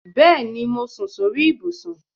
Bẹẹni, mo sùn sórí ibùsùn